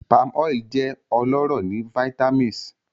Palmoil jẹ ọlọrọ ni vitamis